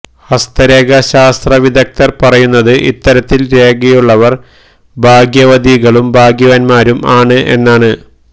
ഹസ്തരേഖാശാസ്ത്ര വിദഗ്ധർ പറയുന്നത് ഇത്തരത്തിൽ രേഖയുള്ളവർ ഭാഗ്യവതികളും ഭാഗ്യവാൻമാരും ആണ് എന്നാണ്